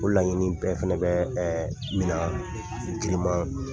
Ko laɲini bɛɛ fana bɛ minɛ giriman